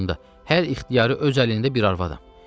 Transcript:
25 yaşımda hər ixtiyarı öz əlimdə bir arvadam.